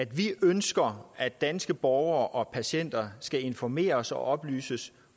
vi ønsker at danske borgere og patienter skal informeres og oplyses